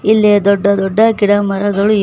ಇಲ್ಲಿ ದೊಡ್ಡ ದೊಡ್ಡ ಗಿಡಮರಗಳು ಇವೆ.